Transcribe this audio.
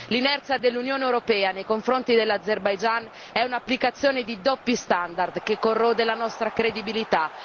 L'inerzia dell'Unione europea nei confronti dell'Azerbaigian è un'applicazione di doppi standard che corrode la nostra credibilità.